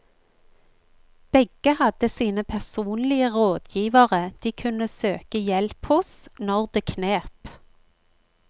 Begge hadde sine personlige rådgivere de kunne søke hjelp hos når det knep.